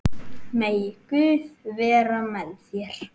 Megi Guð vera með þér.